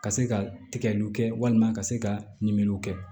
Ka se ka tigɛliw kɛ walima ka se ka ɲiniŋaliw kɛ